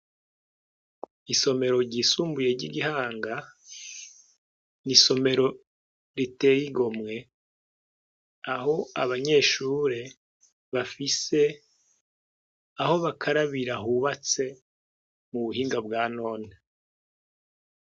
Isomero ryisumbuye ry'igihanga ni isomero riteyigomwe aho abanyeshure bafise aho bakarabira hubatse mu buhinga bwa nona.